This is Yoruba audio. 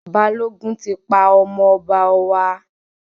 Balógun tí pa ọmọ ọba wa